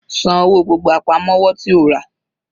San owó gbogbo àpamọ́wọ́ tí o rà.